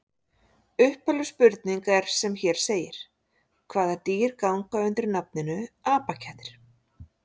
Upphafleg spurning er sem hér segir: Hvaða dýr ganga undir nafninu apakettir?